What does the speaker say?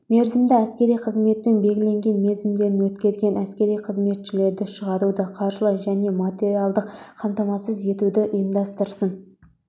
мерзімді әскери қызметтің белгіленген мерзімдерін өткерген әскери қызметшілерді шығаруды қаржылай және материалдық қамтамасыз етуді ұйымдастырсын